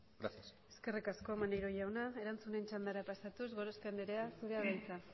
gracias eskerri asko maneiro jauna erantzunen txandara pasatuz gorospe anderea zurea da hitza